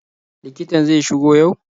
Likitan zai shigo yau?